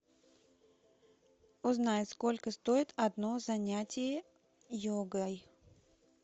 узнай сколько стоит одно занятие йогой